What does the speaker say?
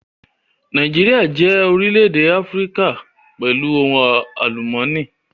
Nàìjíríà jẹ́ orílè-èdè Áfíríkà pẹ̀lú ohun àlùmọ́nì